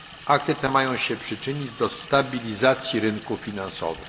Akty te mają się przyczynić do stabilizacji rynków finansowych.